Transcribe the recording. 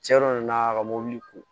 Cɛn dɔ nana ka mobili ko